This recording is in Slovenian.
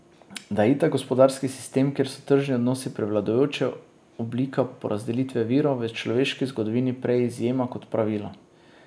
Da je itak gospodarski sistem, kjer so tržni odnosi prevladujoča oblika porazdelitve virov, v človeški zgodovini prej izjema kot pravilo.